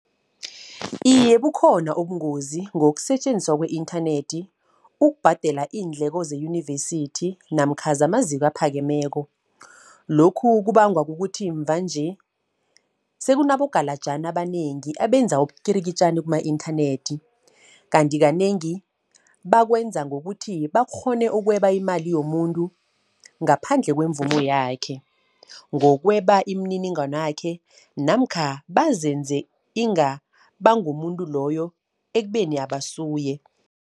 Iye bukhona ubungozi ngokusetjenziswa kwe-inthanethi, ukubhadela iindleko zeyunivesithi, namkha zamaziko aphakemeko. Lokhu kubangwa kukuthi mvanje sekunabogalajani abanengi, abenza ubukirikitjani kuma-inthanethi. Kanti kanengi bakwenza ngokuthi bakghone ukweba imali yomuntu, ngaphandle kwemvumo yakhe. Ngokweba imininingwanakhe, namkha bazenze inga bangumuntu loyo ekubeni abasuye.